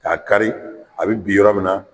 K'a kari a bɛ bin yɔrɔ min na